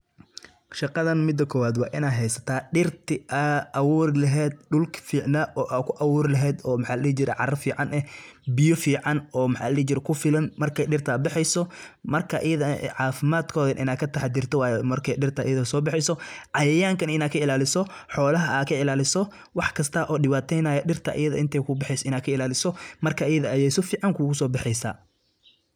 Shaqadan midi kowad waa ina haysata dirti ad aburi lehed, dulki ficna oo a ku aburi lehed oo maxa ladi jire oo cara fican eh, biyo fican oo kufilan markay mirta baxeyso marka ayadha eh cafimad kodha wa inad kataxarto marka mirta ayadha sobaxeysa cayayanka nah inad kai laliso, xolaha ad ka ilaliso wax kista oo dibateynayo wa inad ka ilaliso iyada inta ay kubaxeyso, marka ayadha ah aya sifican kusobixi.